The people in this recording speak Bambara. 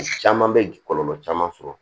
Caman bɛ kɔlɔlɔ caman sɔrɔ